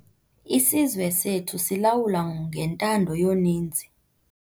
Isizwe sethu silawulwa ngentando yoninzi.